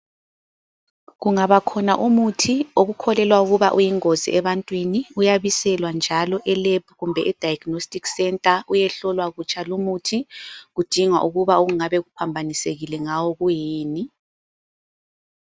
Kungabakhona umuthi okukholelwa ukuba uyingozi ebantwini, uyabiselwa njalo elab kumbe ediagnostic centre, uyehlolwa kutsha lumuthi kudingwa ukuba okungabe kuphambanisekile ngawo kuyini.